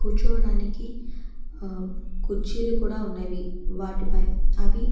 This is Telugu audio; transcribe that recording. కూర్చోవడానికి అ కుర్చీలు కూడా ఉన్నవి వాటిపై అవి